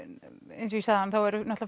eins og ég sagði áðan þá eru